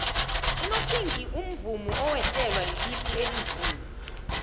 unopinki umvumi owehlelwa lilifa elinzima